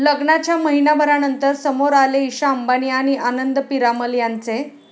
लग्नाच्या महिन्याभरानंतर समोर आले ईशा अंबानी आणि आनंद पीरामल यांचे